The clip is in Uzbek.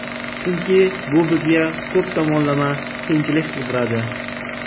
Chunki bu bizga ko‘p tomonlama qiyinchilik tug‘diradi.